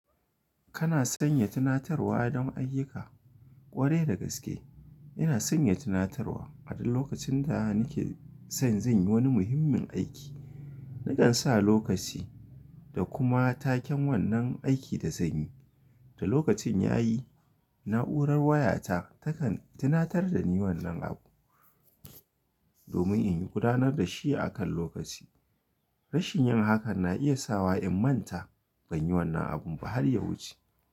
Kana sanya tunatarwa don ayyuka? Kwarai da gaske ina sanya tunatarwa. A duk lokacin da nike san zan yi wani muhimmin aiki, nakan sa lokaci da kuma taken wannan aiki da zan yi. Da lokacin yayi, na'urar wayata takan tunatar da ni wannan abu domin in gudanar da shi a kan lokaci. Rashin yin hakan na iya sawa in manta. Ban yi wannan abun ba har ya wuce.